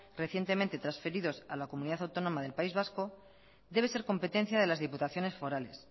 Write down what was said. recientemente transferidos a la comunidad autónoma del país vasco debe ser competencia de las diputaciones forales